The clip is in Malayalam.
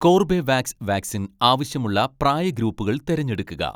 കോർബെവാക്സ് വാക്സിൻ ആവശ്യമുള്ള പ്രായ ഗ്രൂപ്പുകൾ തിരഞ്ഞെടുക്കുക.